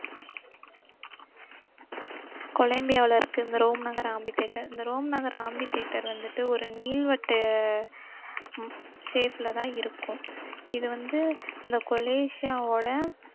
கொலம்பியாவுல இருக்கு இந்த ரோம் நகர் amphitheater இந்த ரோம் நகர் amphitheater வந்துட்டு ஒரு நீள்வட்டு அஹ் உம் shape லதான் இருக்கும் இது வந்து இந்த கொலேஷியாவோட